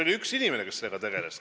Oli üks inimene, kes sellega tegeles.